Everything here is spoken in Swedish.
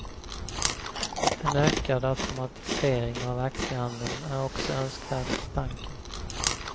En ökad automatisering av aktiehandeln är också önskvärd för banken.